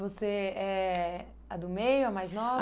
Você é a do meio, a mais nova? A